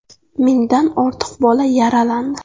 Mingdan ortiq bola yaralandi.